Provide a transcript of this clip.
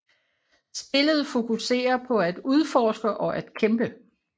Spillet fokuserer på at udforske og at kæmpe